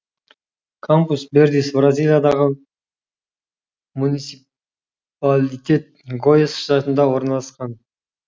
кампус вердис бразилиядағы муни ципалитет гояс штатында орналасқан